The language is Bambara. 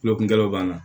Kulokunkɛlaw b'an na